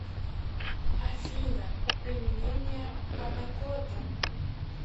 афина применение панакотта